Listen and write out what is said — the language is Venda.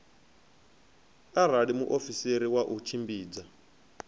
arali muofisiri wa u tshimbidza